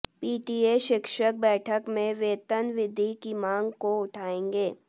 PTA शिक्षक बैठक में वेतन वृद्वि की मांग को उठाएंगे